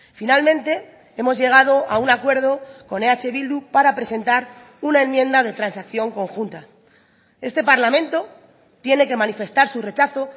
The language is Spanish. finalmente hemos llegado a un acuerdo con eh bildu para presentar una enmienda de transacción conjunta este parlamento tiene que manifestar su rechazo